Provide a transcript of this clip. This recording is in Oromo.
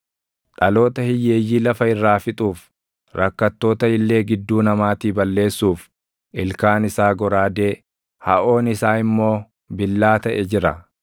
dhaloota hiyyeeyyii lafa irraa fixuuf rakkattoota illee gidduu namaatii balleessuuf ilkaan isaa goraadee, haʼoon isaa immoo billaa taʼe jira.